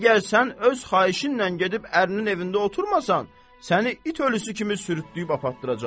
Əgər sən öz xahişinlə gedib ərinin evində oturmasan, səni it ölüsü kimi sürütləyib apartdıracağam.